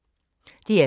DR2